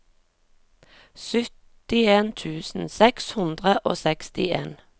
syttien tusen seks hundre og sekstien